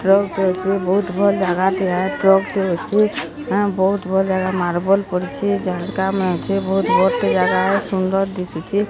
Truck truck ରେ ବୋହୁତ ଭଲ୍ ଜାଗାଟେ ଟିଆ ଟ୍ରକ୍ ଟେ ଅଛି ଆ ବହୁତ ଭୁଲ୍ ଜାଗା ମାର୍ବଲ ପଡ଼ିଚି ଜାଗା ମେଞ୍ଚେ ବୋହୁତ ବଡ଼ ଟେ ଜାଗା ସୁନ୍ଦର୍ ଦିସୁଛି।